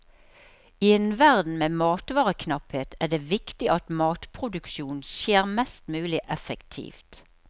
I en verden med matvareknapphet er det viktig at matproduksjonen skjer mest mulig effektivt.